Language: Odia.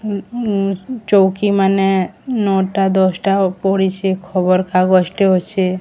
ଉଁ ଚୌକିମାନେ ନଅଟା ଦଶଟା ପଡିଛି ଖବରକାଗଜଟେ ଅଛି।